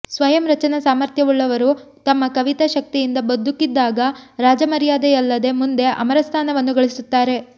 ಸ್ವಯಂ ರಚನಾ ಸಾಮಥ್ರ್ಯವುಳ್ಳವರು ತಮ್ಮ ಕವಿತಾ ಶಕ್ತಿಯಿಂದ ಬದುಕಿದ್ದಾಗ ರಾಜಮರ್ಯಾದೆಯಲ್ಲದೆ ಮುಂದೆ ಅಮರಸ್ಥಾನವನ್ನು ಗಳಿಸುತ್ತಾರೆ